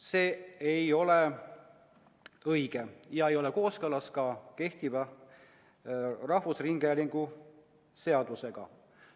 See ei ole õige ega ole kooskõlas ka kehtiva rahvusringhäälingu seadusega.